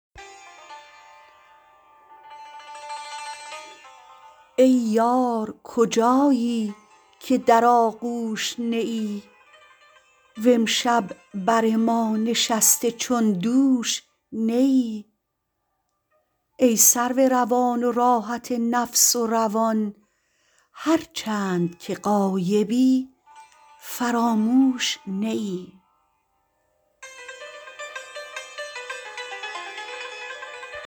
ای یار کجایی که در آغوش نه ای و امشب بر ما نشسته چون دوش نه ای ای سرو روان و راحت نفس و روان هر چند که غایبی فراموش نه ای